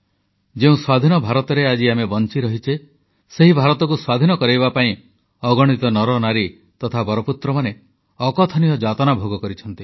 ଯେଉଁ ସ୍ୱାଧୀନ ଭାରତରେ ଆଜି ଆମେ ବଂଚିରହିଛେ ସେହି ଭାରତକୁ ସ୍ୱାଧୀନ କରାଇବା ପାଇଁ ଅଗଣିତ ନରନାରୀ ତଥା ବରପୁତ୍ରମାନେ ଅକଥନୀୟ ଯାତନା ଭୋଗ କରିଛନ୍ତି